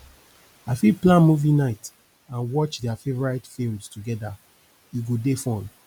i fit plan movie night and watch dia favorite films together e go dey fun